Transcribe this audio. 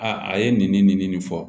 Aa a ye nin nin fɔ